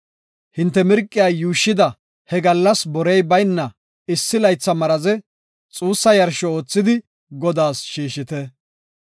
Hinte mirqiya yuushshida he gallas borey bayna issi laytha maraze xuussa yarsho oothidi Godaas shiishite.